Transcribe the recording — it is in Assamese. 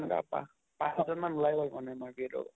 এনেকুৱা পাহ পাঁছ ছ্জন মান ওলাই গʼল মানে